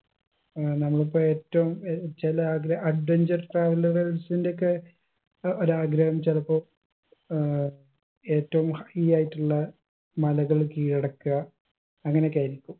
ഏർ നമ്മളിപ്പൊ ഏറ്റവും ഏർ ചില ആഗ്ര adventure travel കൾസിന്റെയൊക്കെ ഏർ ഒരാഗ്രഹം ചിലപ്പൊ ഏർ ഏറ്റവും high ആയിട്ടുള്ള മലകൾ കീഴടക്ക അങ്ങനൊക്കെ ആയിരിക്കും